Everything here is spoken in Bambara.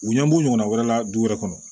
U ɲɛ b'u ɲɔgɔnna wɛrɛ la du wɛrɛ kɔnɔ